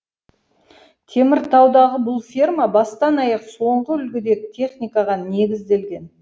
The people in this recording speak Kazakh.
теміртаудағы бұл ферма бастан аяқ соңғы үлгідегі техникаға негізделген